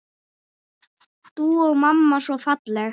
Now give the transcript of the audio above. Þú og mamma svo falleg.